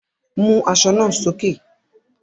Mú aṣọ náà sókè!